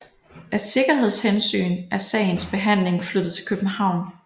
Af sikkerhedshensyn er sagens behandling flyttet til København